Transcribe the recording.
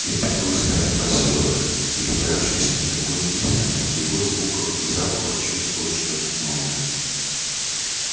это был старый посёлок перебравшийся на другое место но в его звуках и запахах чувствовалось что то новое